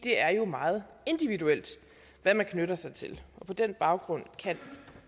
er jo meget individuelt hvad man knytter sig til og på den baggrund kan